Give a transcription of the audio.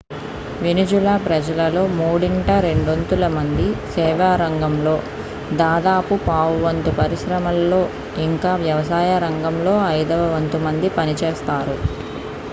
Venezuela ప్రజలలో మూడింట రెండొంతుల మంది సేవా రంగంలో దాదాపు పావువంతు పరిశ్రమలలో ఇంకా వ్యవసాయం రంగంలో ఐదవ వంతు మంది పనిచేస్తారు